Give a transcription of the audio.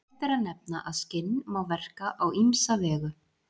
Rétt er að nefna að skinn má verka á ýmsa vegu.